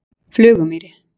Flugumýri